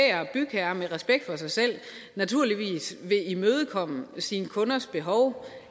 bygherre med respekt for sig selv naturligvis vil imødekomme sine kunders behov